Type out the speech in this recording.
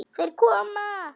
Þeir koma!